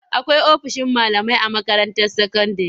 Akwai ofishin malamai a makaranta sakandire.